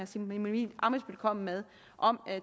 simon emil ammitzbøll kom med om